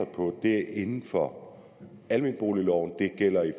på ligger inden for almenboligloven det gælder i